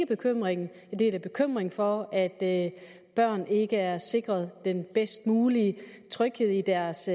bekymringen jeg deler bekymringen for at børn ikke er sikret den bedst mulige tryghed i deres